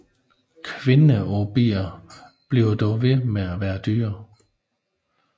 Kvindeobier bliver dog ved med at være dyre